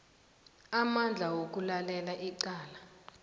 amandla wokulalela icala